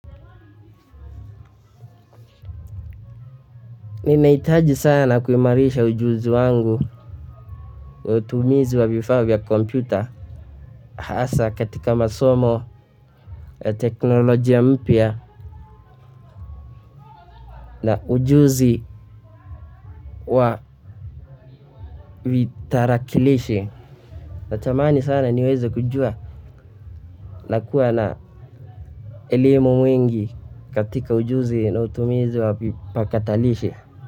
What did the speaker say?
Nimehitaji sana kuimarisha ujuzi wangu wa utumizi wa vifaa vya kompyuta hasa katika masomo ya teknolojia mpya na ujuzi wa vitarakilishi. Natamani sana niweze kujua na kuwa na elimu mwingi katika ujuzi na utumizi wa vipakatalishi.